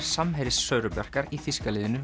samherji Söru Bjarkar í þýska liðinu